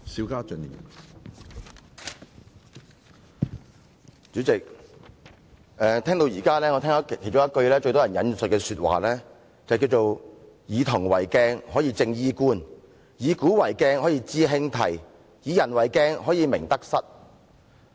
主席，我聆聽議員的發言，至今最多人引述的一句話是："夫以銅為鏡，可以正衣冠；以古為鏡，可以知興替；以人為鏡，可以明得失。